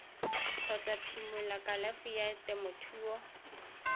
kgotsa phimola kalafi ya temothuo